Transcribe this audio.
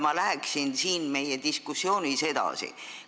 Ma läheksin meie diskussiooniga edasi.